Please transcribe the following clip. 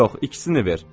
Yox, ikisini ver.